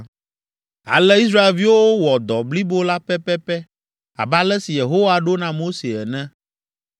Ale Israelviwo wɔ dɔ blibo la pɛpɛpɛ abe ale si Yehowa ɖo na Mose ene.